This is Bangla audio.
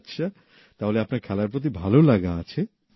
আচ্ছা তাহলে আপনার খেলার প্রতি ভাললাগা আছে